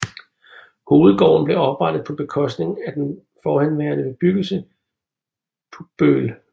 Hovedgården blev oprettet på bekostning af den forhenværende bebyggelse Pugbøl